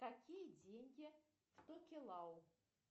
какие деньги в токелау